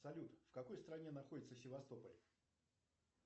салют в какой стране находится севастополь